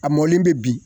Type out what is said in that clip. A mɔlen bɛ bi